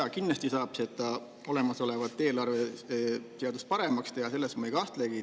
Jah, kindlasti saab eelarveseadust paremaks teha, selles ma ei kahtlegi.